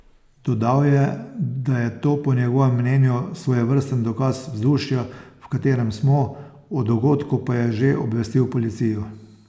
Dodal je, da je to po njegovem mnenju svojevrsten dokaz vzdušja, v katerem smo, o dogodku pa je že obvestil policijo.